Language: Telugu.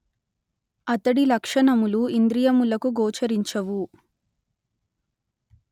అతడి లక్షణములు ఇంద్రియములకు గోచరించవు